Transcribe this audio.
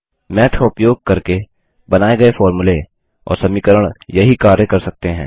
माथ का उपयोग करके बनाये गये फोर्मुले और समीकरण यहीं कार्य कर सकते हैं